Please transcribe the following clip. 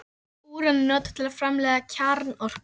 Úran er notað við framleiðslu kjarnorku.